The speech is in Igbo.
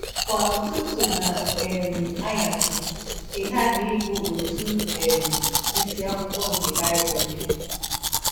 Kwa ụtụtụ na um anyasị ị ghaghị ịgụ ọtụ um isiakwụkwọ nke Bible gị. ”